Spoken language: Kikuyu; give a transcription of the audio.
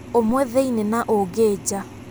ũmwe thĩini na ũngĩ njaa.